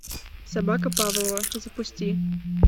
собака павлова запусти